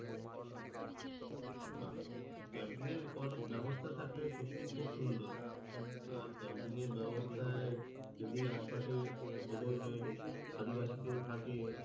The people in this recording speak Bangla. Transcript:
নাহ এর খুব একটা ব্যাবস্থা থাকলে সত্যিই খুব সুন্দর আর এর ব্যাবস্থায় যদি আশপাশে ওদের আদিবাসি কেউ থাকে